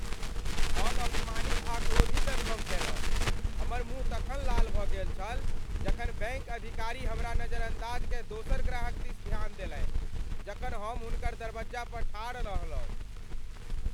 हम अपमानित आ क्रोधित अनुभव कयलहुँ, हमर मुँह तखन लाल भऽ गेल छल जखन बैंक अधिकारी हमरा नजरअंदाज कय दोसर ग्राहक दिस ध्यान देलनि जखन हम हुनकर दरबज्जा पर ठाढ़ रहलहुँ।